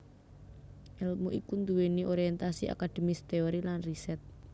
Èlmu iki nduwèni orientasi akademis teori lan riset